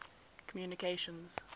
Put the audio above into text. communications